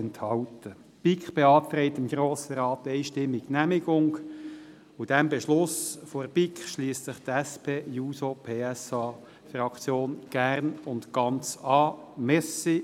Die BiK beantragt dem Grossen Rat einstimmig die Genehmigung, und diesem Beschluss der BiK schliesst sich die SP-JUSO-PSA-Fraktion gerne und ganz an.